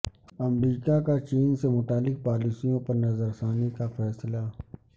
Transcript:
امریکہ کا چین سے متعلق پالیسیوں پر نظر ثانی کا فیصلہ